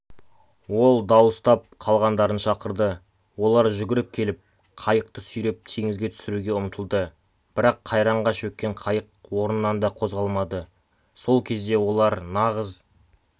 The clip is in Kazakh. ол дауыстап қалғандарын шақырды олар жүгіріп келіп қайықты сүйреп теңізге түсіруге ұмтылды бірақ қайраңға шөккен қайық орнынан да қозғалмады сол кезде олар нағыз